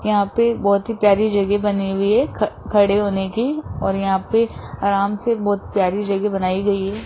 यहां पे बहुत ही प्यारी जगह बनी हुई है खड़े होने की और यहां पे आराम से बहोत प्यारी जगह बनाई गई है।